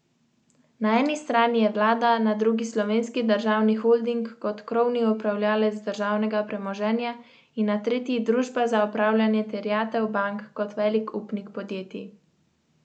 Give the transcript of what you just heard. Selitev načrtujejo julija ali najkasneje avgusta.